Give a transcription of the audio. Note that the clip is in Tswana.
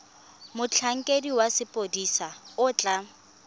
motlhankedi wa sepodisi o tla